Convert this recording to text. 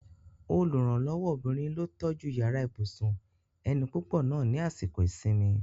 Olùrànlọ́wọ́ obìnrin ló tọ́jú yàrá ibùsùn ẹni púpọ̀ náà ni àsìkò ìsinmi